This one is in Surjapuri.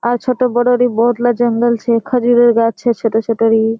आर छोटो बड़ो री बहुत ला जंगल छे खजुरेर गाछ छे छोटा-छोटा री।